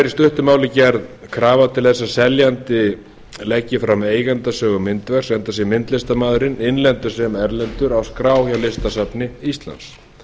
stuttu máli gerð krafa til þess að seljandi leggi fram eigendasögu myndverks enda sé myndlistarmaðurinn innlendur sem erlendur á skrá hjá listasafni íslands